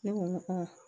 Ne ko n ko